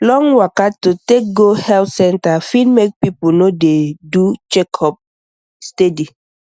long waka to take go health center fit make people no dey do checkup steady